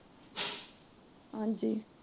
ਹਾਂਜੀ